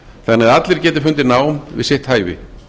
þannig að allir geti fundið nám við sitt hæfi